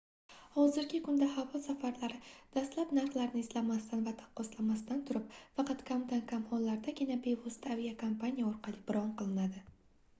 hozirgi kunda havo safarlari dastlab narxlarni izlamasdan va taqqoslamasdan turib faqat kamdan-kam hollardagina bevosita aviakompaniya orqali bron qilinadi